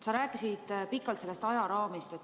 Sa rääkisid pikalt sellest ajaraamist.